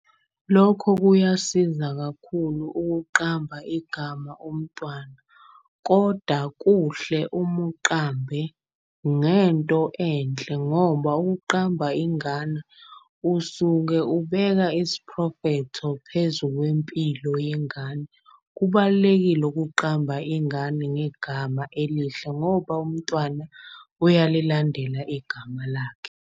Lokho kuyasiza kakhulu ukuqamba igama umntwana koda kuhle uma uqambe ngento enhle. Ngoba ukuqamba ingane usuke ubeka isiprofetho phezu kwempilo yengane. Kubalulekile ukuqamba ingane ngegama elihle ngoba umntwana uyalilandela igama lakhe.